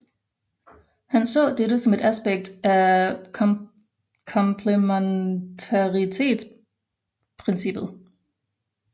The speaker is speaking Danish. Han så dette som et aspekt af komplementaritetsprincippet